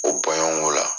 O bɔɲɔgɔnko la